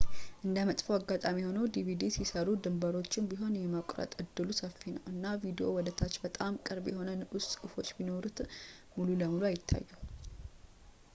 እንደ መጥፎ አጋጣሚ ሆኖ፣ ዲቪዲ ሲሰሩ ድንበሮቹንም ቢሆን የመቆረጥ እድሉ ሰፊ ነው ፣ እና ቪዲዮው ወደ ታች በጣም ቅርብ የሆኑ ንዑስ ጽሑፎች ቢኖሩት ሙሉ በሙሉ አይታዩም